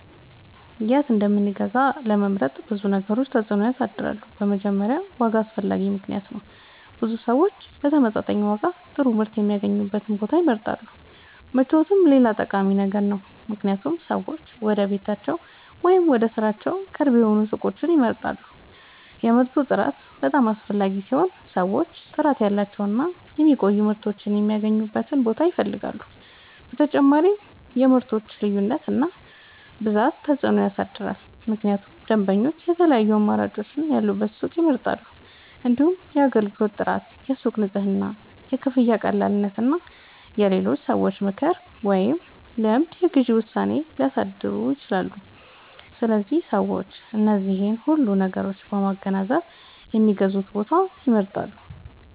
የት እንደምንገዛ ለመምረጥ ብዙ ነገሮች ተጽዕኖ ያሳድራሉ። በመጀመሪያ ዋጋ አስፈላጊ ምክንያት ነው፤ ብዙ ሰዎች በተመጣጣኝ ዋጋ ጥሩ ምርት የሚያገኙበትን ቦታ ይመርጣሉ። ምቾትም ሌላ ጠቃሚ ነገር ነው፣ ምክንያቱም ሰዎች ወደ ቤታቸው ወይም ወደ ሥራቸው ቅርብ የሆኑ ሱቆችን ይመርጣሉ። የምርቱ ጥራት በጣም አስፈላጊ ሲሆን ሰዎች ጥራት ያላቸውን እና የሚቆዩ ምርቶችን የሚያገኙበትን ቦታ ይፈልጋሉ። በተጨማሪም የምርቶች ልዩነት እና ብዛት ተጽዕኖ ያሳድራል፣ ምክንያቱም ደንበኞች የተለያዩ አማራጮች ያሉበትን ሱቅ ይመርጣሉ። እንዲሁም የአገልግሎት ጥራት፣ የሱቁ ንጽህና፣ የክፍያ ቀላልነት እና የሌሎች ሰዎች ምክር ወይም ልምድ የግዢ ውሳኔን ሊያሳድሩ ይችላሉ። ስለዚህ ሰዎች እነዚህን ሁሉ ነገሮች በማገናዘብ የሚገዙበትን ቦታ ይመርጣሉ።